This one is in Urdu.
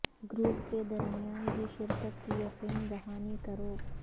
گروپ کے درمیان بھی شرکت کی یقین دہانی کرو